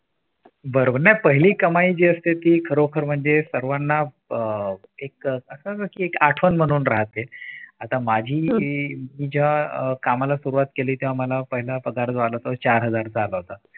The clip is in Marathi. बरोबर नाय पहिली कमाई जी असते ती खरोखर म्हणजे सर्वांना अह असं नसत एक आठवण म्हणून राहते आता माझी मी जेव्हा कामाला सुरुवात केली तेव्हा मला पहिला पगार आला तो चार हजार रुपये आला होता.